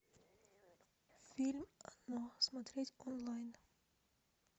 фильм оно смотреть онлайн